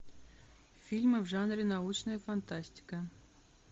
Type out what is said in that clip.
фильмы в жанре научная фантастика